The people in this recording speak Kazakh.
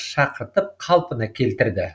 шақыртып қалпына келтірді